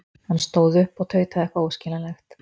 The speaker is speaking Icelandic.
Hann stóð upp og tautaði eitthvað óskiljanlegt.